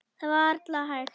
Það er varla hægt.